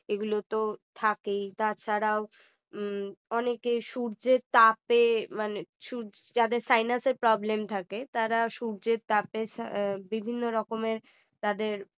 এগুলো তো থাকে তাছাড়াও অনেকের সূর্যের তাপে মানে~ সূর্যে যাদের sinus problem থাকে তারা সূর্যের তাপে বিভিন্ন রকমের তাদের